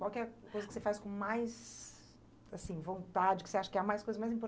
Qual que é a coisa que você faz com mais, assim, vontade, que você acha que é a mais coisa mais